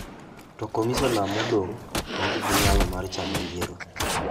To komisiona modong' onge gi nyalo mar chano yiero.